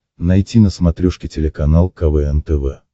найти на смотрешке телеканал квн тв